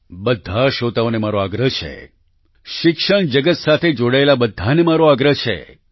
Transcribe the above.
બધા શ્રોતાઓને મારો આગ્રહ છે શિક્ષણ જગત સાથે જોડાયેલા બધાને મારો આગ્રહ છે